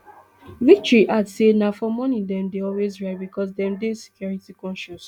victory add say na for morning dem dey always ride becos dem dey security concious